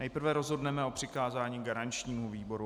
Nejprve rozhodneme o přikázání garančnímu výboru.